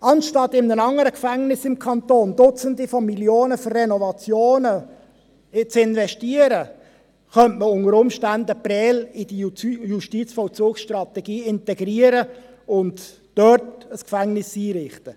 Anstatt in ein anderes Gefängnis im Kanton Dutzende von Millionen Franken für Renovationen zu investieren, könnte man Prêles unter Umständen in die Justizvollzugsstrategie integrieren und dort ein Gefängnis einrichten.